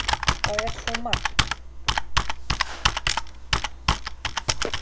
Það er svo margt!